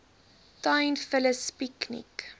tuin vullis piekniek